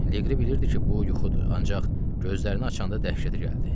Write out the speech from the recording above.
Leqri bilirdi ki, bu yuxudur, ancaq gözlərini açanda dəhşətə gəldi.